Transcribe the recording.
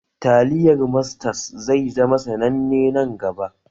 Taliyar Mastas zai zama sananne nan gaba